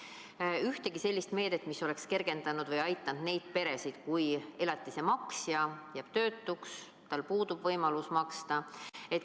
Ei olnud ühtegi sellist meedet, mis oleks kergendanud või aidanud neid peresid olukorras, kus elatise maksja jääb töötuks, tal puudub võimalus maksta.